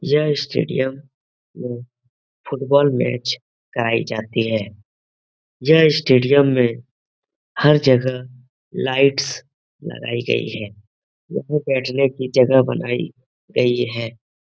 यह स्टेडियम में football match कराई जाती है। यह स्टेडियम में हर जगह लाईट्स लगाई गयी है। यहाँ बैठने की जगह बनाई गयी है।